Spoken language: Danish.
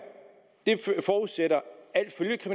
forudsætter